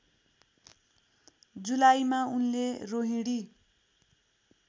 जुलाईमा उनले रोहिणी